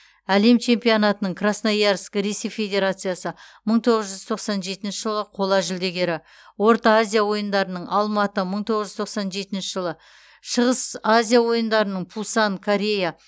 әлем чемпионатының красноярск ресей федерациясы мың тоғыз жүз тоқсан жетінші жылы қола жүлдегері орта азия ойындарының алматы мың тоғыз жүз тоқсан жетінші жылы шығыс азия ойындарының пусан корея